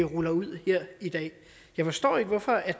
ruller ud her i dag jeg forstår ikke hvorfor